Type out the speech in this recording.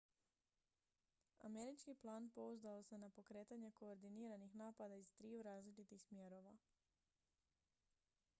američki plan pouzdao se na pokretanje koordiniranih napada iz triju različitih smjerova